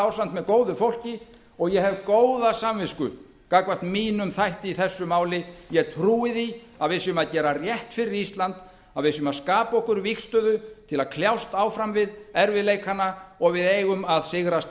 ásamt með góðu fólki og ég hef góða samvisku gagnvart mínum þætti í þessu máli ég trúi því að við séum að gera rétt fyrir ísland að við séum að skapa okkur vígstöðu til að kljást áfram við erfiðleikana og við eigum að sigrast á